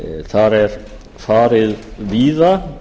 þar er farið víða